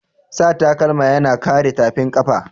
Sa takalma yana kare tafin kafa.